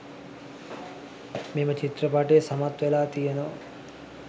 මෙම චිත්‍රපටිය සමත් වෙලා තියෙනවා.